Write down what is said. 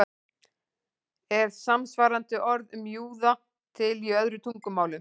Er samsvarandi orð um júða til í öðrum tungumálum?